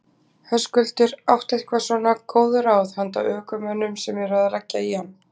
Höskuldur: Áttu eitthvað svona einhver góð ráð handa ökumönnum sem eru að leggja í hann?